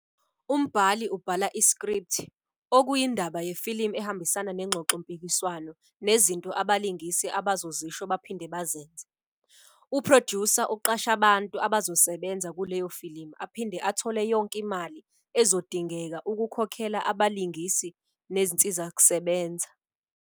Umbhali ubhala isikripthi, okuyindaba yefilimu ehambisana nengxoxompikiswano nezinto abalingisi abazozisho baphinde bazenze. U"producer" uqasha abantu abazosebenza kuleyofilimu aphinde athole yonke imali ezodingeka ukukhokhela abalingisi nezinsizakusebenza.